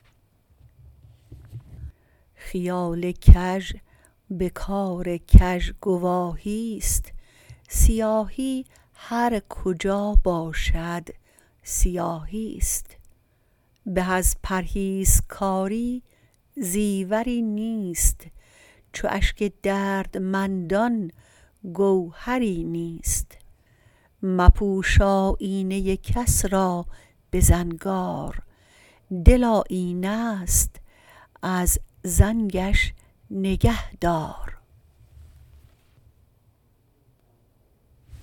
خیال کژ به کار کژ گواهی است سیاهی هر کجا باشد سیاهی است به از پرهیزکاری زیوری نیست چو اشک دردمندان گوهری نیست مپوش آیینه کس را به زنگار دل آیینه است از زنگش نگهدار